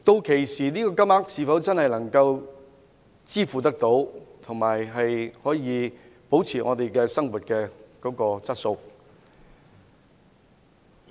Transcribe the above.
屆時這個金額是否真的能夠應付開支，並且維持生活質素？